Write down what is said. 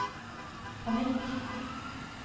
panikk